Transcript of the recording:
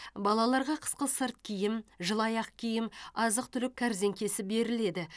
балаларға қысқы сырт киім жылы аяқ киім азық түлік кәрзеңкесі беріледі